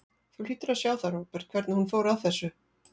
Þú hlýtur að sjá það, Róbert, hvernig hún fór að þessu.